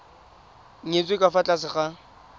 nyetswe ka fa tlase ga